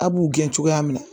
A b'u gɛn cogoya min na